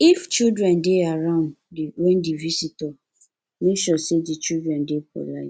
if children dey around when di visitor make sure sey di children dey polite